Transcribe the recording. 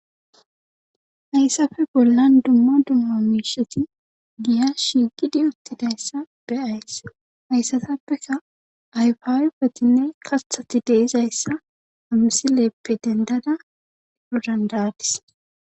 hayssafe bollan dumma dumma miisheti giya shigidi uttidayssa be'ays hayssatappeka ayfa ayfetine kathati deizayssa amsileppe dendada ilodandaadis